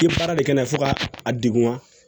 I baara de kɛ na ye fo ka a degun